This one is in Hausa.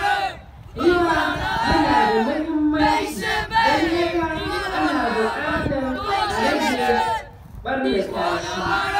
Ruwa yana da mahimmanci, don haka ana buƙatar a rage ɓarnata shi.